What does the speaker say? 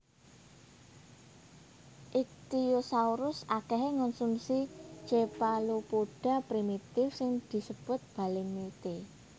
Ichthyosaurus akèhè ngonsumsi chephalopoda primitif sing disebut balemnitte